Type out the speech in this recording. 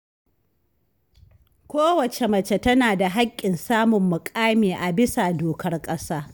Kowacce mace tana da haƙƙin samun muƙami a bisa dokar ƙasa